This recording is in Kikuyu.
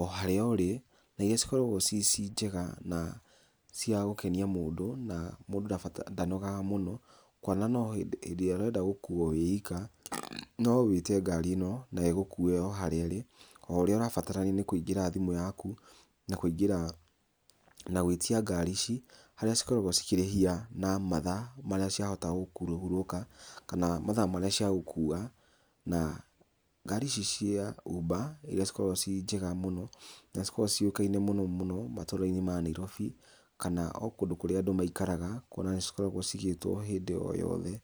o harĩa ũrĩ, na iria cikoragwo ci ci njega na cia gũkenia mũndũ, na mũndũ ndanogaga mũno, kuona no hĩndĩ ĩrĩa ũrenda gũkuo wĩ wika, no wĩte ngaari ĩno na ĩgũkue o harĩa ĩrĩ, o ũrĩa ũrabatarania no kũingĩra thimũ yaku, na kũingĩra na gũĩtia ngaari ici, harĩa cikoragwo cikĩrĩhia na mathaa, marĩa ciahota kũhurũka, kana mathaa marĩa cia gũkua, na ngaari ici cia Uber, iria cikoragwo ciĩ njega mũno, na cikoragwo ciũĩkaine mũno mũno matũrainĩ ma Nairobi kana o kũndũ kũrĩa andũ maikaraga kuona nĩ cikoragwo cigĩĩtwo o hĩndĩ o yothe.